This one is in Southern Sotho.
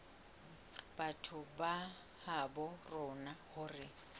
batho ba habo rona hore